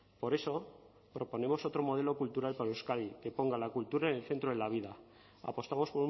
por eso proponemos otro modelo cultural para euskadi que ponga la cultura en el centro de la vida apostamos